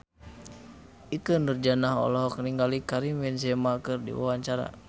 Ikke Nurjanah olohok ningali Karim Benzema keur diwawancara